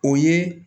O ye